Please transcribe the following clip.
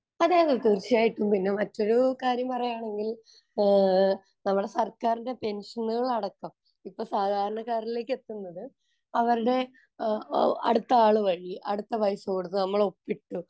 അതേയതെ, തീര്‍ച്ചയായിട്ടും. പിന്നെ മറ്റൊരു കാര്യം പറയുവാണെങ്കില്‍ നമ്മുടെ സര്‍ക്കാരിന്‍റെ പെന്‍ഷനുകള്‍ അടക്കം ഇപ്പൊ സാധാരണക്കാരിലേക്ക് എത്തുന്നത് അവരുടെ ആ അടുത്ത ആള് വഴി അടുത്ത പൈസ കൊടുത്തു. നമ്മള്‍ ഒപ്പിട്ടു